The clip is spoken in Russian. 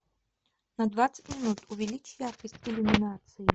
на двадцать минут увеличь яркость иллюминации